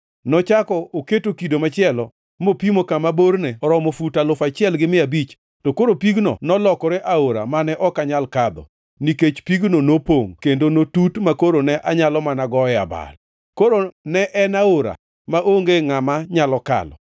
Nochako oketo kido machielo mopimo kama borne oromo fut alufu achiel gi mia abich, to koro pigno nolokore aora mane ok anyal kadho nikech pigno nopongʼ kendo notut makoro ne anyalo mana goe abal. Koro en aora mane onge ngʼama nyalo kalo.